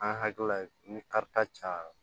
An hakilila ni karita cayara